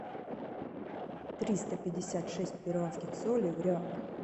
триста пятьдесят шесть перуанских солей в реалах